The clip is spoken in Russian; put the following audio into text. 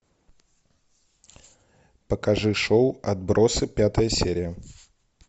покажи шоу отбросы пятая серия